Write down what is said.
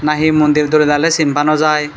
na he mondir dole dale sin pa no jai.